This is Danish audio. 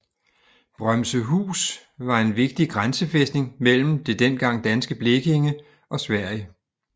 Brømsehus var en vigtig grænsefæstning mellem det dengang danske Blekinge og Sverige